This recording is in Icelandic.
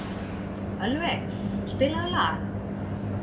Ölveig, spilaðu lag.